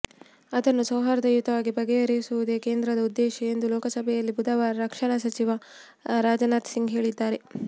ಅದನ್ನು ಸೌಹಾರ್ದಯುತವಾಗಿ ಬಗೆಹರಿಸುವುದೇ ಕೇಂದ್ರದ ಉದ್ದೇಶ ಎಂದು ಲೋಕಸಭೆಯಲ್ಲಿ ಬುಧವಾರ ರಕ್ಷಣಾ ಸಚಿವ ರಾಜನಾಥ್ ಸಿಂಗ್ ಹೇಳಿದ್ದಾರೆ